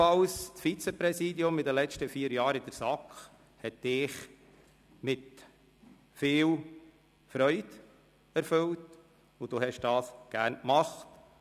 Das Vizepräsidium der SAK hat Sie in den letzten vier Jahren mit viel Freude erfüllt, und Sie haben das gerne gemacht.